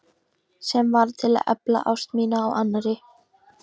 Sem varð til að efla ást mína á annarri.